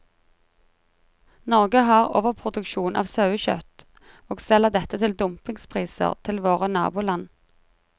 Norge har overproduksjon av sauekjøtt, og selger dette til dumpingpriser til våre naboland.